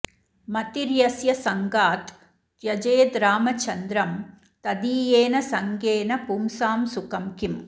मतिर्यस्य सङ्गात् त्यजेद्रामचन्द्रं तदीयेन सङ्गेन पुंसां सुखं किम्